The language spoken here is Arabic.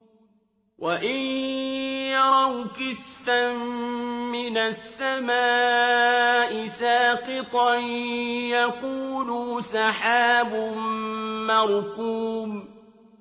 وَإِن يَرَوْا كِسْفًا مِّنَ السَّمَاءِ سَاقِطًا يَقُولُوا سَحَابٌ مَّرْكُومٌ